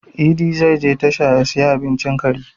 Idi zai je tasha ya siyi abincin kari